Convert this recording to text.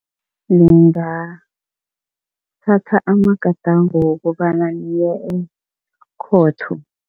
Ningathatha amagadango wokobana niye ekhotho.